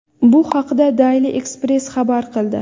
Bu haqda Daily Express xabar qildi .